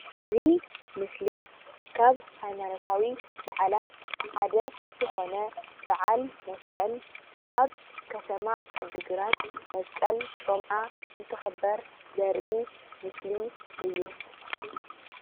እዚ ምስሊ ካብ ሃይማኖታዊ በዓላት ሓደ ዝኾነ በዓል መስቀል ኣብ ከተማ ዓዲግራት መስቀል ጮምዓ እንትኽበር ዘርኢ ምስሊ እዩ።